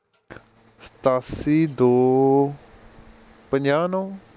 ਸਤਾਸੀ ਦੋ ਪੰਜਾਹ ਨੌ